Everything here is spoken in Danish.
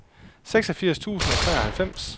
seksogfirs tusind og treoghalvfems